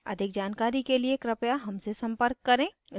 अधिक जानकारी के लिए कृपया हमसे संपर्क करें